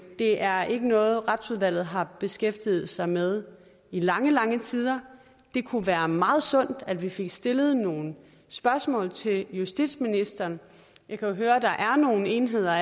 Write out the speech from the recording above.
det er ikke noget retsudvalget har beskæftiget sig med i lange lange tider det kunne være meget sundt at vi fik stillet nogle spørgsmål til justitsministeren vi kan jo høre at der allerede er nogle enheder